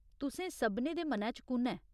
तुसें सभनें दे मनै च कु'न ऐ ?